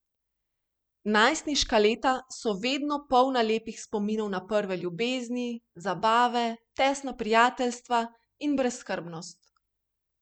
Najstniška leta so vedno polna lepih spominov na prve ljubezni, zabave, tesna prijateljstva in brezskrbnost.